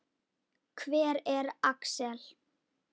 Hver er Axel?